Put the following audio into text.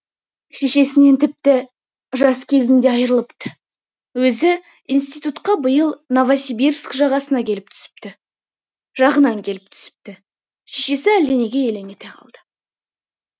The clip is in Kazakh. шешесінен тіпті жас кезінде айрылыпты өзі институтқа биыл новосибирск жағынан келіп түсіпті шешесі әлденеге елең ете қалды